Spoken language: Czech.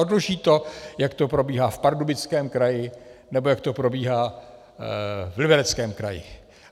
Odloží to, jak to probíhá v Pardubickém kraji nebo jak to probíhá v Libereckém kraji.